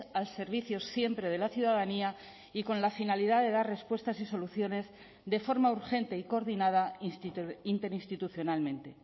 al servicio siempre de la ciudadanía y con la finalidad de dar respuestas y soluciones de forma urgente y coordinada interinstitucionalmente